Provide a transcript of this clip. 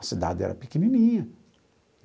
A cidade era pequenininha.